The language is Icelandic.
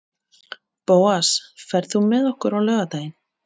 Bóas, ferð þú með okkur á laugardaginn?